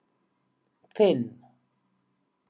Finn